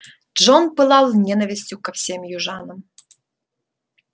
джон пылал ненавистью ко всем южанам